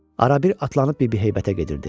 Arabir atlanıb bibi heybətə gedirdi.